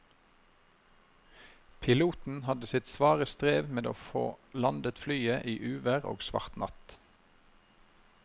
Piloten hadde sitt svare strev med å få landet flyet i uvær og svart natt.